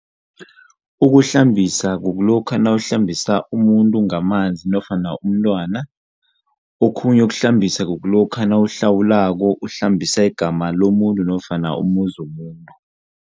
Ukuhlambisa kukulokha nawuhlambisa umuntu ngamanzi nofana umntwana, okhunye ukuhlambisa kukulokha nawuhlawulako, uhlambisa igama lomuntu nofana umuzi womuntu.